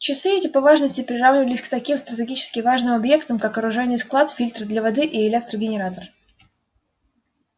часы эти по важности приравнивались к таким стратегически важным объектам как оружейный склад фильтры для воды и электрогенератор